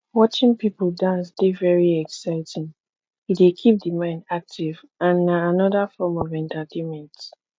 watching people dance dey very exciting e dey keep di mind active and na anoda form of entertainment